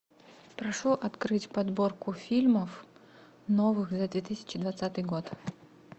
прошу открыть подборку фильмов новых за две тысячи двадцатый год